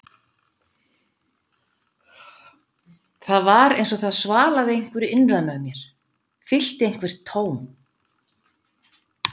Það var eins og það svalaði einhverju innra með mér, fyllti eitthvert tóm.